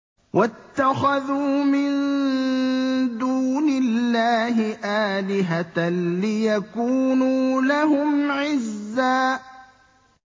وَاتَّخَذُوا مِن دُونِ اللَّهِ آلِهَةً لِّيَكُونُوا لَهُمْ عِزًّا